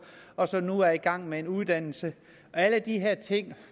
og som nu er i gang med en uddannelse alle de her ting